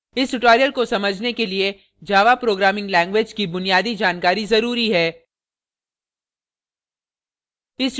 इस tutorial को समझने के लिए java programming language की बुनियादी जानकारी जरूरी है